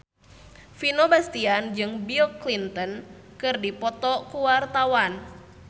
Vino Bastian jeung Bill Clinton keur dipoto ku wartawan